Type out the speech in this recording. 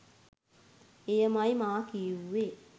එයමයි මා කිවුවේ.